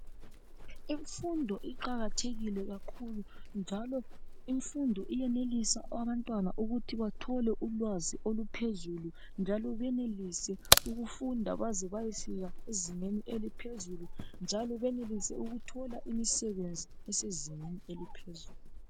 Imfundo iqakathekile kakhulu njalo imfundo iyenelisa abantwana ukuthi bathole ulwazi oluphezulu njalo banelise ukufunda baze bayefika ezingeni eliphezulu njalo benelise ukuthola imisebenzi esezingeni eliphezulu.